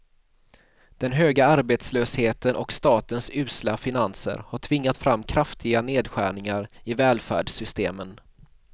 Den höga arbetslösheten och statens usla finanser har tvingat fram kraftiga nedskärningar i välfärdssystemen.